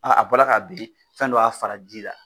a bɔra k'a ben fɛn dɔ y'a fara ji la.